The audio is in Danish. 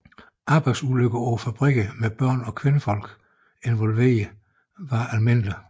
Arbejdsulykker på fabrikkerne med børn og kvinder involveret var almindelige